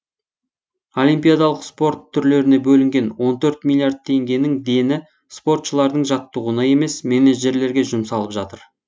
олимпиадалық спорт түрлеріне бөлінген он төрт миллиард теңгенің дені спортшылардың жаттығуына емес менеджерлерге жұмсалып жатыр